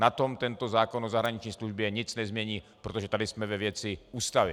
Na tom tento zákon o zahraniční službě nic nezmění, protože tady jsme ve věci Ústavy.